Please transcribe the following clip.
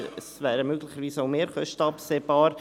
Es wären möglicherweise auch Mehrkosten absehbar.